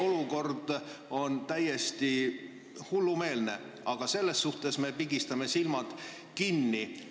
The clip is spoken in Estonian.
Olukord on täiesti hullumeelne, aga me pigistame silmad kinni.